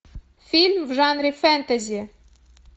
фильм в жанре фэнтези